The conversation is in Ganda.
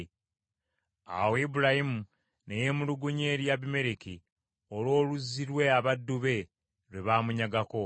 Awo Ibulayimu ne yeemulugunya eri Abimereki olw’oluzzi lwe abaddu be lwe baamunyagako.